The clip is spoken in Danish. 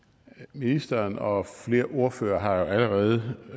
ministeren og flere ordførere har allerede